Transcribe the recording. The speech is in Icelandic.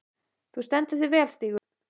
Þú stendur þig vel, Stígur!